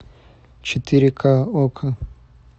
четыре ка окко